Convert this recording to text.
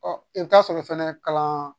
i bɛ taa sɔrɔ fɛnɛ kalan